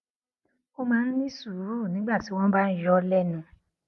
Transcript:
ó máa ń ní sùúrù nígbà tí wón bá ń yọ ọ lẹnu